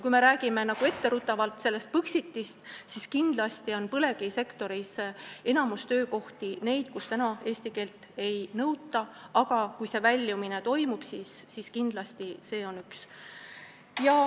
Kui me räägime etteruttavalt Põxitist, siis tuleb öelda, et enamik töökohti põlevkivisektoris on sellised, kus eesti keele oskust ei nõuta, aga kui see väljumine toimub, siis kindlasti on see üks nõudeid.